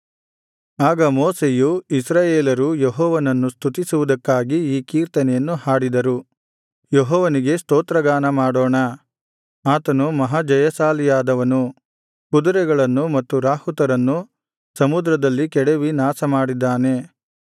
ಆಗ ಮೋಶೆಯೂ ಇಸ್ರಾಯೇಲರೂ ಯೆಹೋವನನ್ನು ಸ್ತುತಿಸುವುದಕ್ಕಾಗಿ ಈ ಕೀರ್ತನೆಯನ್ನು ಹಾಡಿದರು ಯೆಹೋವನಿಗೆ ಸ್ತೋತ್ರ ಗಾನಮಾಡೋಣ ಆತನು ಮಹಾಜಯಶಾಲಿಯಾದವನು ಕುದುರೆಗಳನ್ನು ಮತ್ತು ರಾಹುತರನ್ನು ಸಮುದ್ರದಲ್ಲಿ ಕೆಡವಿ ನಾಶಮಾಡಿದ್ದಾನೆ